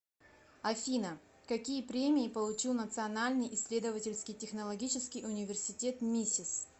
афина какие премии получил национальный исследовательский технологический университет мисис